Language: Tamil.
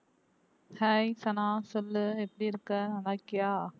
hi சனா சொல்லு எப்படி இருக்க நல்ல இருக்கியா